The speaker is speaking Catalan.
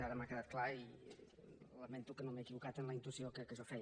ara m’ha quedat clar i lamento que no m’hagi equivocat en la intuïció que jo feia